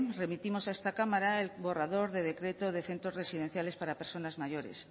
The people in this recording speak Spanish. remitimos a esta cámara el borrador de decreto de centros residenciales para personas mayores